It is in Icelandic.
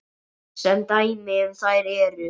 Sem dæmi um þær eru